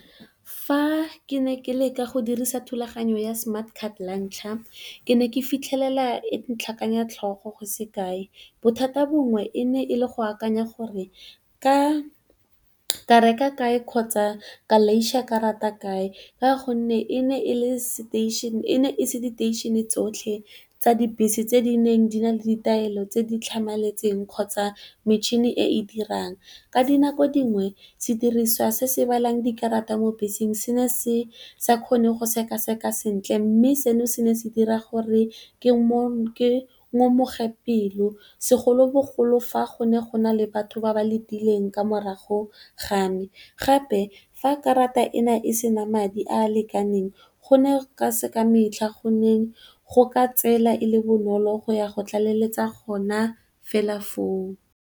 Fa ke ne ke leka go dirisa thulaganyo ya smartcard la ntlha ke ne ke fitlhelela e ntlhakanya tlhogo go sekae. Bothata bongwe e ne e le go akanya gore nka reka kae kgotsa ka laiša karata kae, ka gonne e ne e se diteishene tsotlhe tsa dibese tse di neng di na le ditaelo tse di tlhamaletseng kgotsa metšhini e e dirang. Ka dinako dingwe sediriswa se se balang dikarata mo beseng se ne se sa kgone go sekaseka sentle mme, seno se ne se dira gore ke ngomoge pelo. Segolobogolo, fa go ne go na le batho ba ba letileng ka mo morago ga me gape, fa karata e ne e se na madi a a lekaneng, go ne e se ka metlha gone go ka tsela e le bonolo go ya go tlaleletsa gona fela foo.